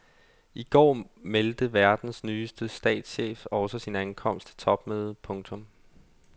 I går meldte verdens nyeste statschef også sin ankomst til topmødet. punktum